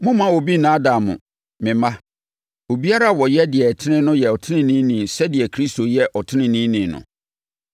Mommma obi nnaadaa mo, me mma. Obiara a ɔyɛ deɛ ɛtene no yɛ ɔteneneeni sɛdeɛ Kristo yɛ ɔteneneeni no.